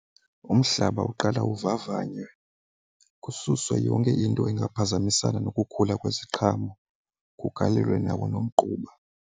Umhlaba uqala uvavanywe kususwe yonke into engaphazamisana nokukhula kweziqhamo kugalelwe nawo nomgquba.